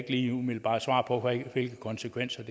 ikke umiddelbart svare på hvilke konsekvenser